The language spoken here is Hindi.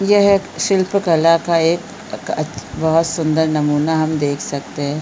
यह शिल्प कला का एक अ क त बहुत सुन्दर नमूना हम देख सकते है।